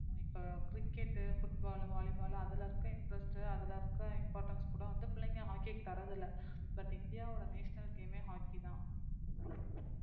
இப்ப cricket, football, volley ball அதுல இருக்க interest அதுல இருக்கிற importance கூட வந்து பிள்ளைங்க hockey க்கு தர்றதில்லை but இந்தியாவோட national game ஏ hockey தான்